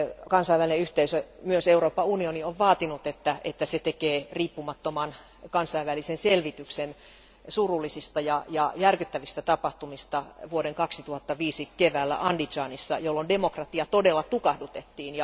Kansainvälinen yhteisö, myös Euroopan unioni, on vaatinut, että se tekee riippumattoman kansainvälisen selvityksen surullisista ja järkyttävistä tapahtumista vuoden 2005 keväällä Andizanissa, jolloin demokratia todella tukahdutettiin.